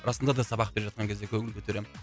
расында да сабақ беріп жатқан кезде көңіл көтеремін